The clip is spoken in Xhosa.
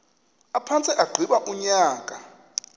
aphantse agqiba unyaka